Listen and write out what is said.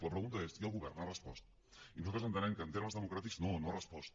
la pregunta és i el govern ha respost i nosaltres entenem que en termes democràtics no no ha respost